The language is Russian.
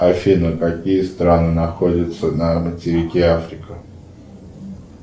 афина какие страны находятся на материке африка